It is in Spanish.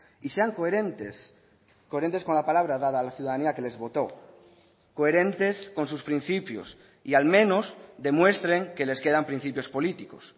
y sean coherentes coherentes con la palabra dada la ciudadanía que les votó coherentes con sus principios y al menos demuestren que les quedan principios políticos